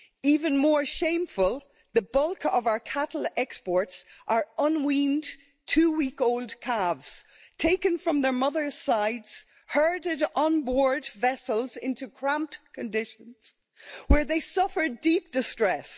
Even more shameful, the bulk of our cattle exports are unweaned two-week old calves taken from their mothers' sides, herded on board vessels into cramped conditions where they suffer deep distress.